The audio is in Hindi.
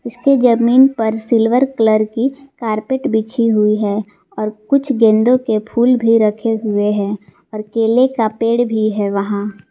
इसके जमीन पर सिल्वर कलर की कारपेट बिछी हुई है और कुछ गेंदों के फूल भी रखे हुए हैं और केले का पेड़ भी है वहां।